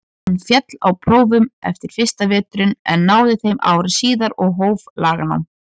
Hann féll á prófum eftir fyrsta veturinn en náði þeim ári síðar og hóf laganám.